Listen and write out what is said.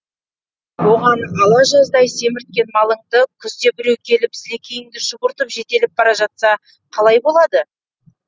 оған ала жаздай семірткен малыңды күзде біреу келіп сілекейіңді шұбыртып жетелеп бара жатса қалай болады